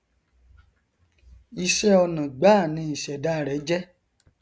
ìṣẹ ọnà gbáà ni ìṣẹdá rẹ jẹ